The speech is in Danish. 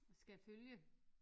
Skal følge